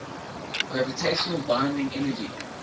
gravitational binding energy